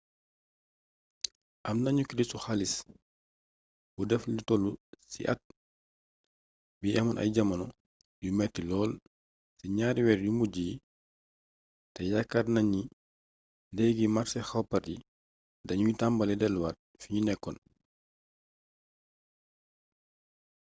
am nañu kirisu xaalis bu def lu toll ci at bi amoon ay jamono yu metti lool ci ñaari weer yu mujj yi te yaakaar naa ni léegi màrse koppar yi dañuy tambalee delluwaat fiñu nekkoon